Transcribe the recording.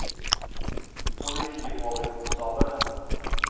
politioverkonstabel